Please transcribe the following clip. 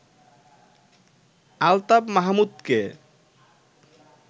Altaf মাহমুদকে